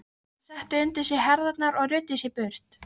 Hann setti undir sig herðarnar og ruddi sér braut.